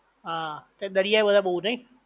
હા દરિયા બધા બોવ નઇ?